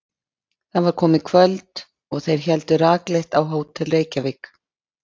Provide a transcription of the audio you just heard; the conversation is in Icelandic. Það var komið kvöld og þeir héldu rakleitt á Hótel Reykjavík.